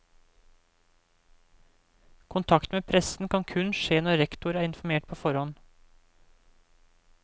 Kontakt med pressen kan kun skje når rektor er informert på forhånd.